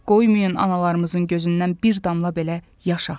Qoymayın analarımızın gözündən bir damla belə yaş axsın.